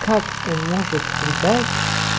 как он может предать